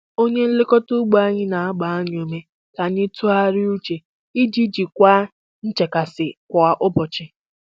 Onye nlekọta ugbo anyị na-agba anyị ume ka anyị tụgharịa uche iji jikwaa nchekasị kwa ụbọchị.